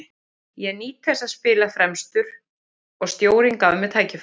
Ég nýt þess að spila fremstur og stjórinn gaf mér tækifæri.